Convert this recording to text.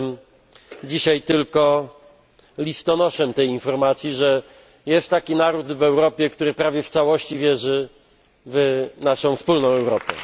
Jestem dzisiaj tylko przekazicielem informacji, że jest taki naród w Europie, który prawie w całości wierzy w naszą wspólną Europę.